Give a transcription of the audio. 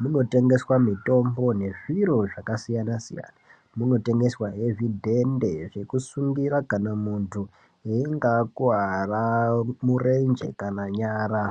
munotengeswa mitombo ngezviro zvakasiyana siyana munotengeswa he zvidhende zvekusungira kana muntu einga akuwara murenje kana nyara.